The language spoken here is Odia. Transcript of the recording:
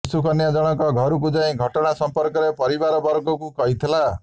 ଶିଶୁ କନ୍ୟା ଜଣଙ୍କ ଘରକୁ ଯାଇ ଘଟଣା ସମ୍ପର୍କରେ ପରିବାର ବର୍ଗକୁ କହିଥିଲା